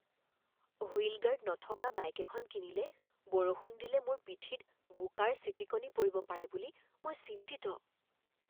Wheel guard নথকা bike এখন কিনিলে বৰষুণ দিলে মোৰ পিঠিত বোকাৰ ছিটিকনি পৰিব পাৰে বুলি মই চিন্তিত।